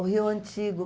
O Rio Antigo.